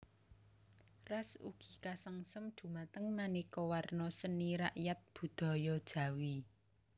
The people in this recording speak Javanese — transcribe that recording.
Ras ugi kasengsem dumateng manéka warna seni rakyat budaya Jawi